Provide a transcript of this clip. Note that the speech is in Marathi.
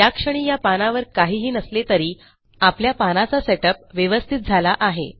याक्षणी या पानावर काहीही नसले तरी आपल्या पानाचा सेटअप व्यवस्थित झाला आहे